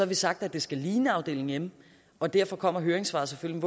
vi sagt at det skal ligne afdeling m og derfor kommer høringssvaret selvfølgelig